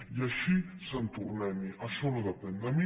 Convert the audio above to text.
i així sant tornem hi això no depèn de mi